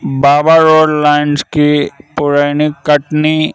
बाबा road lines की पुरैनी कटनी--